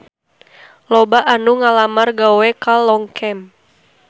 Loba anu ngalamar gawe ka Longchamp